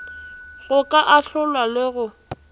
go ka ahlola le go